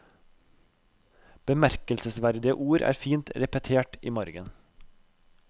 Bemerkelsesverdige ord er fint repetert i margen.